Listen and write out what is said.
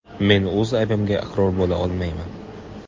Men o‘z aybimga iqror bo‘la olmayman.